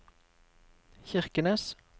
Kirkenes